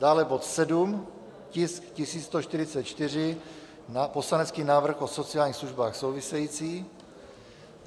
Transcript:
Dále bod 7, tisk 1144, poslanecký návrh o sociálních službách související.